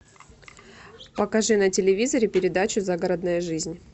покажи на телевизоре передачу загородная жизнь